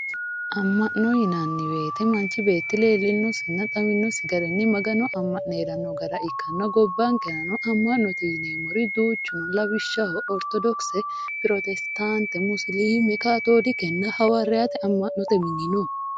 amma'no yinanni woyte manchu beeti leellinosinna xawinosi garinni magano amma'ne hee'ranno gara ikkanna gobbankeranno amma'note yineemmori duuchu no lawishshaho, oritodokise, pirotesitaante, musiliime, kaatoolikehawaariyaate amma'note dani no.